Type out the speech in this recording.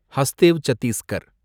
Hasdeo Chhattisgarh